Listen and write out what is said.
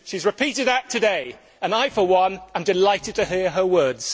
She has repeated that today and I, for one, am delighted to hear her words.